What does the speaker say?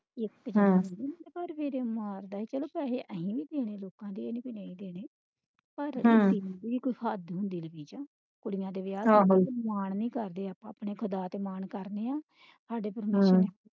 ਹਮ ਪੈਹੇ ਅਸੀਂ ਵੀ ਦੇਣੇ ਲੋਕਾਂ ਦੇ ਇਹ ਨਹੀਂ ਕਿ ਨਹੀਂ ਦੇਣੇ ਕੋਈ ਹੱਦ ਹੁੰਦੀ ਕੁੜੀਆਂ ਦੇ ਵਿਆਹ ਚ ਮਾਨ ਵੀ ਕਰਦੇ ਆਪਾਂ ਅਸੀਂ ਖੁਦਾ ਤੇ ਮਾਨ ਕਰਦੇ ਆਂ